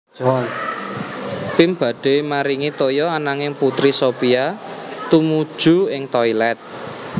Pim badhe maringi toya ananging Putri Sophia tumuju ing toilet